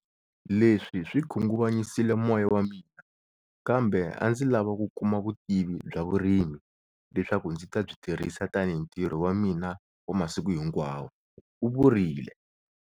Leswi swi khunguvanyisile moya wa mina kambe a ndzi lava ku kuma vutivi bya vurimi leswaku ndzi ta byi tirhisa tanihi ntirho wa mina wa masiku hinkwawo, u vurile.